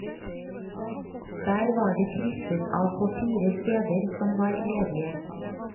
Der var det krysset av på fire steder som var ledige.